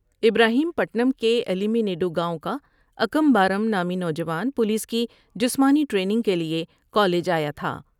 ابراہیم پٹنم کے ایمی نیڈ وگاؤں کا اکم بارم نامی نو جان پولیس کی جسمانی ٹریننگ کے لیے کالج آیا تھا ۔